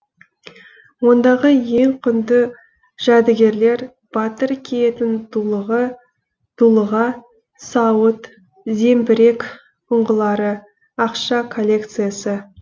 ондағы ең құнды жәдігерлер батыр киетін дулыға сауыт зеңбірек ұңғылары ақша коллекциясы